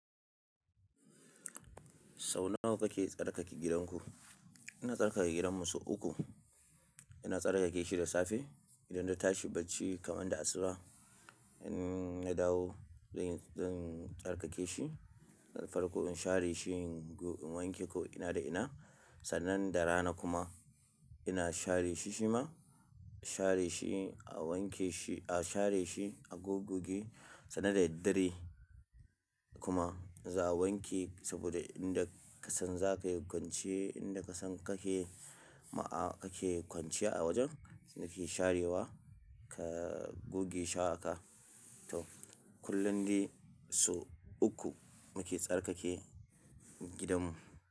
Sau nawa kake tsarkake gidanku? Ina tsarkake gidanmu sau uku. Ina tsarkake shi da safe, idan da tashi bacci kamar da asuba. In ya dawo zan, zan tsarkake shi. Farƙo in share shi, in wanke ko ina da ina. Sannan da rana kuma ina share shi shima. Share shi a wanke shi, a share shi a goggi. Sannan da daddare kuma za a wanke saboda inda ka san za ka yi kwanciyar, inda ka san kake ma, kake kwanciya a wajen, sai ka sharewa, ka gogge shaka. To, kullum dai sau uku muke tsarkake gidanmu.